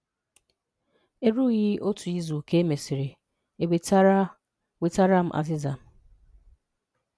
Erùghị́ otu izù ka e mesịrị, e nwetàrà nwetàrà m azị́za.